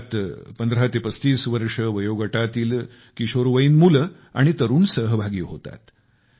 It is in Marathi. यात 15 ते 35 वर्षे वयोगटातील किशोरवयीन मुले आणि तरूण सहभागी होतात